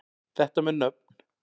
Þetta með nöfn